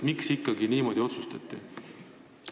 Miks ikkagi niimoodi otsustati?